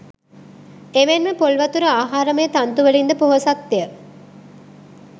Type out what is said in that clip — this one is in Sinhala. එමෙන්ම පොල් වතුර ආහාරමය තන්තු වලින්ද පොහොසත්ය